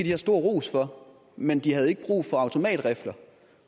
have stor ros for men de havde ikke brug for automatrifler